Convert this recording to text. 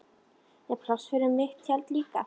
Er pláss fyrir mitt tjald líka?